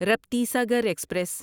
Raptisagar express